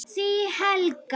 Þín Helga.